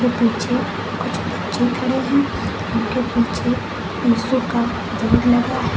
पीछे कुछ बच्चे खड़े हैं उनके पीछे यीशु का लगा है।